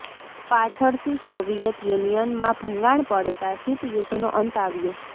પાછળથી સોવિયેત યુનિયનમાં ભંગાણ પડતા શીત યુદ્ધનો અંત આવ્યો